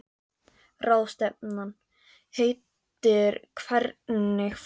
Ráðstefnan heitir Hvernig fór Ísland að þessu?